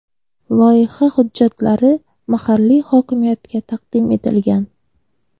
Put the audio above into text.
Loyiha hujjatlari mahalliy hokimiyatga taqdim etilgan.